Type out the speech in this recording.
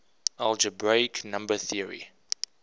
algebraic number theory